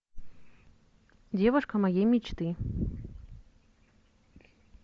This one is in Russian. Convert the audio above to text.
девушка моей мечты